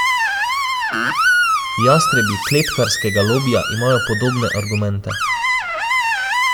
Jastrebi kletkarskega lobija imajo podobne argumente.